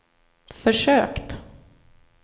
försökt